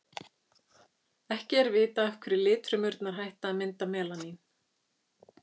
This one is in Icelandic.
ekki er vitað af hverju litfrumurnar hætta að mynda melanín